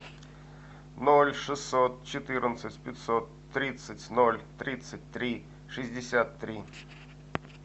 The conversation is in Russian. ноль шестьсот четырнадцать пятьсот тридцать ноль тридцать три шестьдесят три